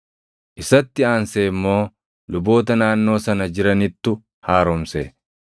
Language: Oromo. Isatti aansee immoo luboota naannoo sana jiranittu haaromse.